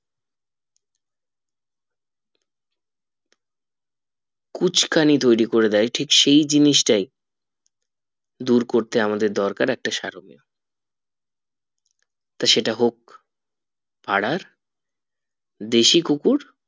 কুচকানি তৈরী করে দেয় ঠিক সেই জিনিসটাই দূর করতে আমাদের দরকার একটা সারোমী তা সেটা হোক পাড়ার দেশি কুকুর